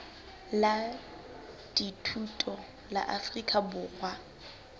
la dithuto la afrika borwa